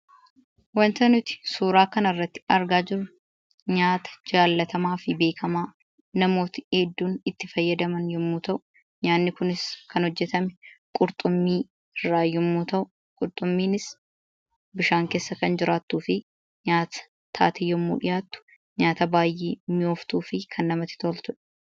Wanti nuti suuraa kanarratti argaa jirru nyaata beekamaa fi jaallatamaa namooti hedduun itti gayyadaman yoo ta’u, nyaati kunis kan hojjetame qurxummii irraa yoo ta’u, qurxummiinis bishaan keessa kan jiraattuuufi nyaata taatee gaafa dhiyaattu nyaata baay'ee namatti toltuu fi kan mi'ooftudha